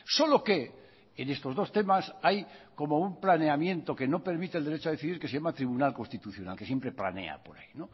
solo que en estos dos temas hay como un planeamiento que no permitir el derecho a decidir que se llama tribunal constitucional que siempre planea por ahí